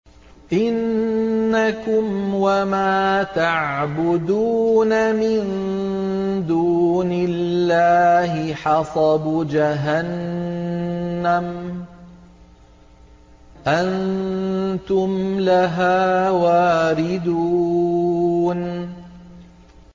إِنَّكُمْ وَمَا تَعْبُدُونَ مِن دُونِ اللَّهِ حَصَبُ جَهَنَّمَ أَنتُمْ لَهَا وَارِدُونَ